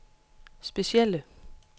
specielle